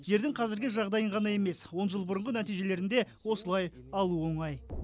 жердің қазіргі жағдайын ғана емес он жыл бұрынғы нәтижелерін де осылай алу оңай